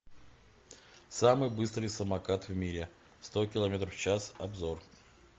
самый быстрый самокат в мире сто километров в час обзор